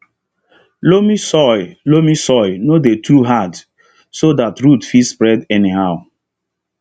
loamy soil loamy soil no dey too hard so that root fit spread anyhow